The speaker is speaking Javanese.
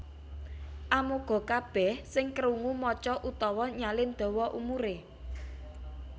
Amoga kabèh sing kerungu maca utawa nyalin dawa umuré